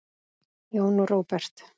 Jón Róbert.